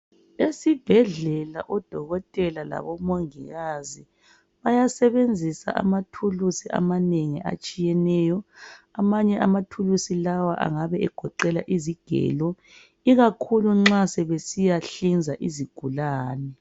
Esibhedlela odokotela labomongikazi bayasebenzisa amathulusi amanengi atshiyeneyo, amanye amathulusi lawa angabe egoqela izigelo, ikakhulu nxa sebesiyanhlinza izigulane.